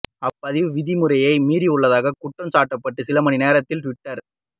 அப்பதிவு விதிமுறையை மீறியுள்ளதாக குற்றம் சாட்டப்பட்டு சில மணி நேரத்தில் டுவிட்டர்